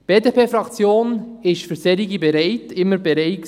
Die BDP-Fraktion ist für solche bereit, war immer bereit.